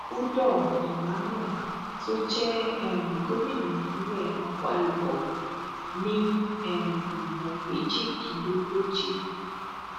udom emmanuel tó jẹ um gómìnà ìpínlẹ akwa ibom ní um ìbò méjìdínlógójì